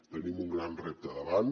tenim un gran repte davant